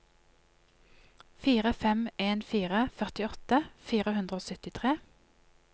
fire fem en fire førtiåtte fire hundre og syttitre